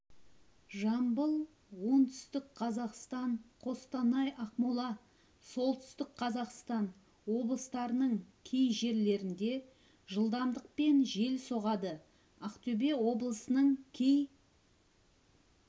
жамбыл оңтүстік қазақстан қостанай ақмола солтүстік қазақстан облыстарының кей жерлерінде жылдамдықпен жел соғады ақтөбе облысының кей